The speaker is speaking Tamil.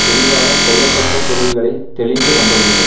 தெளிவாக கொள்ளத்தக்க பொருள்களை தெளிந்து நம்ப வேண்டும்